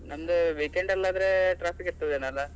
ಒಂದು weekend ಅಲ್ಲಾದ್ರೆ traffic ಇರ್ತದೆ ಏನೊ ಅಲ್ಲಾ.